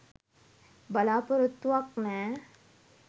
බලාපොරොත්තුවක් නෑ